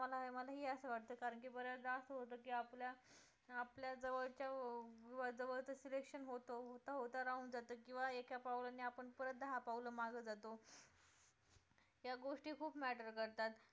मला मलाही असं वाटतं कारण की बऱ्याचदा असं होतं की आपल्या आपल्या जवळच्या जवळचं selection होते होता होता राहून जातं किंवा एका पावलाने आपण परत दहा पाऊलं मागं जातो या गोष्टी खूप matter करतात